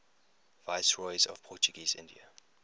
viceroys of portuguese india